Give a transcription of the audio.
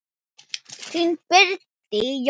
Þín, Bryndís Jóna.